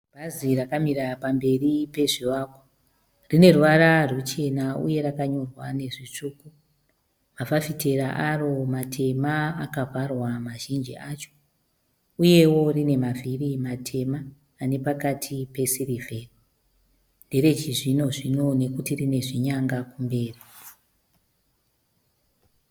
Bhazi rakamira pamberi pezvivakwa. Rine ruvara ruchena uye rakanyorwa nezvitsvuku. Mafafitera aro matema akavharwa mazhinji acho. Uyewo rine mavhiri matema ane pakati pesirivheri. Ndere chizvino-zvino nekuti rine zvinyanga kumberi.